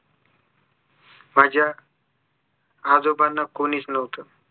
माझ्या आजोबांना कुणीच नव्हतं